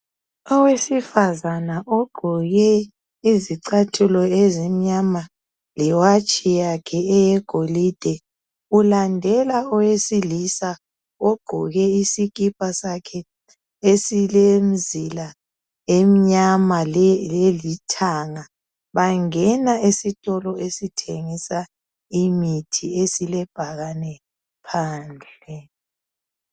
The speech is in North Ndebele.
Owesifazana ogqoke izicathulo ezimnyama lewatshi yakhe eyegolide ulandela owesilisa ogqoke isikipa sakhe esilemizila emnyama lelithanga. Bangena esitolo esithengisa imithi esilebhakane phandle.